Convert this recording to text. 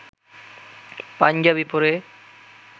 পাঞ্জাবি পরে